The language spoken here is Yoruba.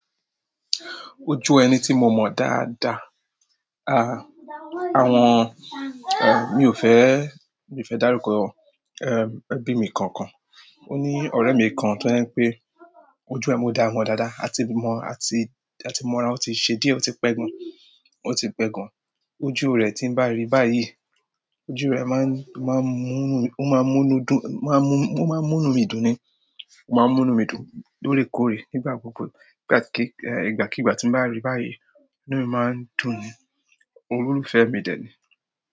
Ojú ẹni tí mo mọ dáadáa, a, àwọn, eh, mi ò fẹ́, mi ò fẹ́ dárúkọ, eh, ẹbí mi kankan. Ó ní ọ̀rẹ́ mi kan tó jẹ́ pé ojú ẹ mo dá mọ̀n dáadáa, a ti mọ, a ti, a ti mọ ara wọn tí ṣe díẹ̀, ó ti pẹ́ gan. Ó ti pẹ́ gan. Ojú rẹ̀ tí n bá rí i báyìí, ojú ẹ̀ máa ń ó máa ń mú nú mi ó máa ń mú nú dùn ó máa ń mú nú ó máa ń mú nú mi dùn ni. Ó máa ń múnu mi dùn lóòrèkóòrè nígbà gbogbo. Ìgbà kí, eh, ìgbàkígbà tí ń bá rí báyìí, inú mi máa ń dùn ni. Olólùfẹ́ mi dẹ̀ ni.